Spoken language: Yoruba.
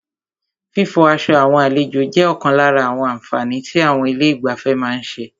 Fífọ aṣọ àwọn àlejò jẹ́ ọ̀kan lára àwọn àǹfààní tí àwọn ilé ìgbafẹ́ má ń ṣe.